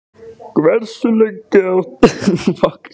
Hversu lengi ertu að koma þér framúr á morgnanna?